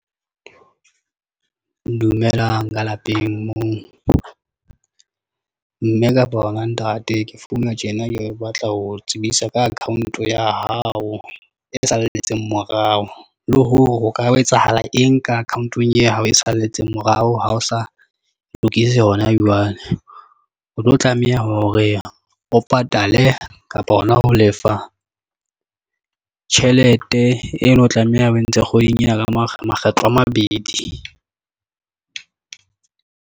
Dumelang ka lapeng moo mme kapa wena ntate ke founa tjena, ke batla ho tsebisa ka account ya hao e salletseng morao, le hore ho ka etsahala eng ka account-ong ya hao e salletseng morao. Ha o sa lokise honajwale, o tlo tlameha hore o patale kapa hona ho lefa tjhelete eno, o tlameha o e ntshe e kgweding ena ka makgetlo a mabedi.